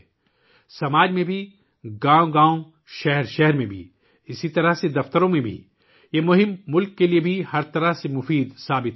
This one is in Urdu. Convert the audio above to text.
یہ مہم ملک کے لیے ہر طرح سے کارآمد ثابت ہو رہی ہے، معاشرے میں، دیہاتوں اور شہروں میں، اسی طرح دفاتر میں بھی